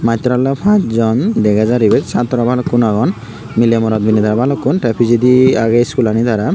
mastor olay passjon dagajar ebat satorow balukun aagon milay morot milinay balukun tay pijadi aagay iskul ani tarar.